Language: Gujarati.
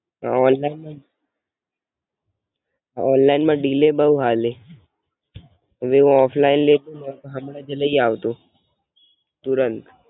હમ ઓનલાઇન ના ડિલે બોવ હાલે, ઓફલાઈન લેવું ને તો હમણાં જ લઇ આવતે તુરંત.